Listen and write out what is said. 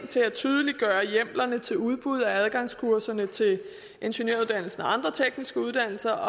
til at tydeliggøre hjemlerne til udbud af adgangskurserne til ingeniøruddannelsen og andre tekniske uddannelser